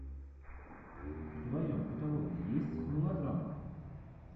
в твоем каталоге есть мелодрама